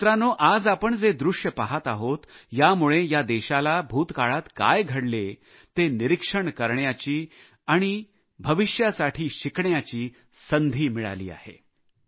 पण मित्रांनो आज आपण जे दृश्य पाहत आहोत यामुळे या देशाला भूतकाळात काय घडले ते निरीक्षण करण्याची आणि भविष्यासाठी शिकण्याची संधी मिळाली आहे